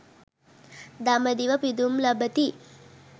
දඹදිව පිදුම් ලබති.